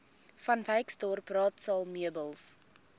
vanwyksdorp raadsaal meubels